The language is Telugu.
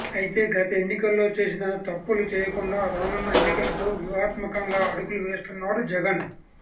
అయితే గత ఎన్నికల్లో చేసిన తప్పులు చేయకుండా రానున్న ఎన్నికలకు వ్యూహత్మకంగా అడుగులు వేస్తున్నాడు జగన్